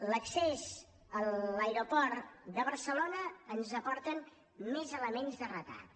en l’accés a l’aeroport de barcelona ens aporten més elements de retard